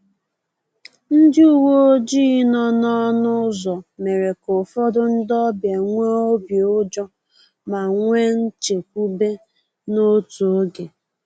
Ndị uweojii nọ n’ọnụ ụzọ mere ka ụfọdụ ndị ọbịa nwee obi ụjọ ma nwee nchekwube n’otu oge